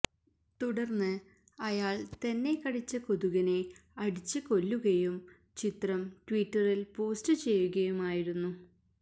തുടര്ന്ന് അയാള് തന്നെ കടിച്ച കൊതുകിനെ അടിച്ച് കൊല്ലുകയും ചിത്രം ട്വിറ്ററില് പോസ്റ്റ് ചെയ്യുകയുമായിരുന്നു